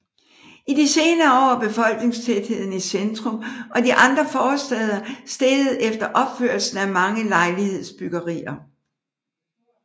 I de senere år er befolkningstætheden i centrum og de indre forstæder steget efter opførelsen af mange lejlighedsbyggerier